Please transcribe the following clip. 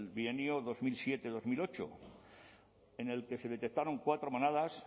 bienio dos mil siete dos mil ocho en el que se detectaron cuatro manadas